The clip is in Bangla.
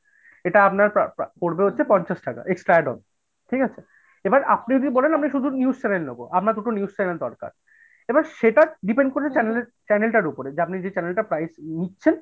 এটা আপনার প্যা প্যা পরবে হচ্ছে পঞ্চাশ টাকা extra add হবে ঠিকাছে? এবার আপনি যদি বলেন শুধু news channel নেবো, আপনার দুটো news channel দরকার এবার সেটা depend করে channel channel টার উপরে, যে আপনি যে channel টার price নিচ্ছেন।